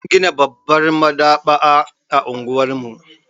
An gina babbar maɗaba'a a unguwar mu.